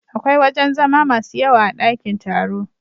Akwai wajen zama masu yawa a dakin taro.